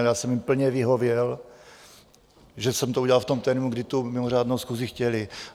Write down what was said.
Ale já jsem jim plně vyhověl, že jsem to udělal v tom termínu, kdy tu mimořádnou schůzi chtěli.